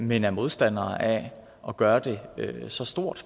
men er modstandere af at at gøre det så stort